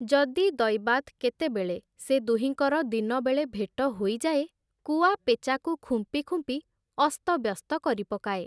ଯଦି ଦୈବାତ୍ କେତେବେଳେ ସେ ଦୁହିଁଙ୍କର ଦିନବେଳେ ଭେଟ ହୋଇଯାଏ, କୁଆ ପେଚାକୁ ଖୁମ୍ପି ଖୁମ୍ପି ଅସ୍ତବ୍ୟସ୍ତ କରିପକାଏ ।